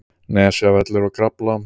Nesjavellir og Krafla.